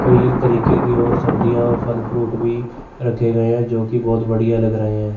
कई तरीके की और सब्जियां और फल फ्रूट भी रखे गए हैं जो की बहुत बढ़िया लग रहे हैं।